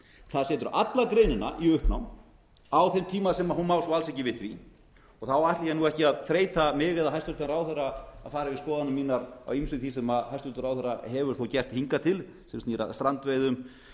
það setur alla greinina í uppnám á þeim tíma sem hún má svo alls ekki við því þá ætla ég nú ekki að þreyta mig eða hæstvirtur ráðherra að fara yfir skoðanir mínar á ýmsu því sem hæstvirtur ráðherra hefur þó gert hingað til sem snýr að strandveiðum